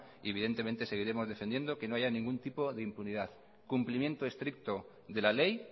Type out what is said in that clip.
y evidentemente seguiremos defendiendo que no haya ningún tipo de impunidad cumplimiento estricto de la ley